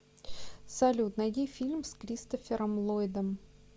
салют найди фильм с кристофером ллойдом